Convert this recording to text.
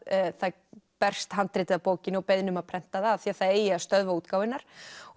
það berst handritið af bókinni og beiðni um að prenta það af því það eigi að stöðva útgáfu hennar